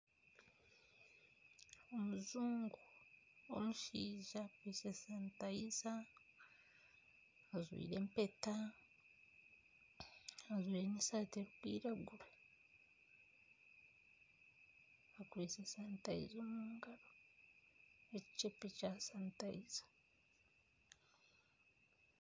Omujungu w'omushaija naakozesa sanitayiza ajwaire empeta, ajwaire n'esaati erikwiragura. Akwaitse sanitayiza omu ngaro, ekikyebe kya sanitayiza.